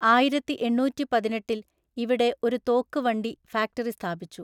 ആയിരത്തിഎണ്ണൂറ്റിപതിനെട്ടില്‍ ഇവിടെ ഒരു തോക്ക് വണ്ടി ഫാക്ടറി സ്ഥാപിച്ചു.